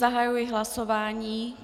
Zahajuji hlasování.